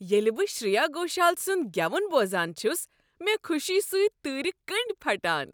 ییٚلہ بہٕ شریا گھوشال سنٛد گیون بوزان چھس، مےٚ خوشی سۭتۍ تۭرِ کنڈۍ پھٹان۔